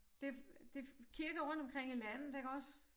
Det det kirker rundtomkring i landet iggås